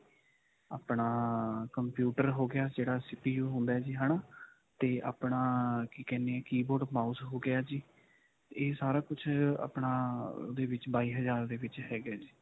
ਆਪਣਾ ਅਅ computer ਹੋ ਗਿਆ, ਜਿਹੜਾ CPU ਹੁੰਦਾ ਹੈ ਜੀ. ਹੈ ਨਾ, ਤੇ ਆਪਣਾ ਕਿ ਕਹਿੰਦੇ ਹੈ, keyboard mouse ਹੋ ਗਿਆ ਜੀ. ਇਹ ਸਾਰਾ ਕੁਝ ਆਪਣਾ ਇਹਦੇ ਵਿੱਚ ਬਾਈ ਹਜਾਰ ਦੇ ਵਿੱਚ ਹੈਗਾ ਹੈ ਜੀ.